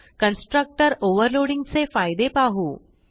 constructor overloading चे फायदे पाहू